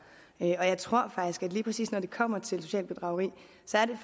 og jeg tror faktisk lige præcis når det kommer til socialt bedrageri